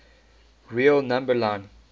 real number line